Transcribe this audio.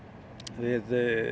við